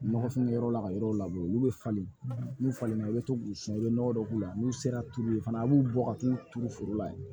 Nɔgɔfinkɛyɔrɔ la ka yɔrɔ labɔ olu bɛ falen n'u falen i bɛ to k'u sunu i bɛ nɔgɔ dɔ k'u la n'u sera tulu ye fana a b'u bɔ ka t'u turu foro la yen